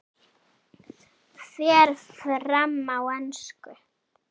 Fer fram á ensku.